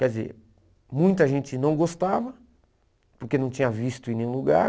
Quer dizer, muita gente não gostava, porque não tinha visto em nenhum lugar,